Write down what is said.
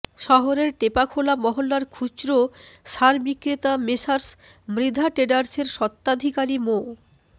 শহরের টেপাখোলা মহল্লার খুচরা সার বিক্রেতা মেসার্স মৃধা ট্রেডার্সের স্বত্বাধিকারী মো